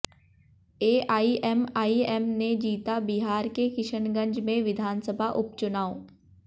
AIMIM ने जीता बिहार के किशनगंज में विधानसभा उपचुनाव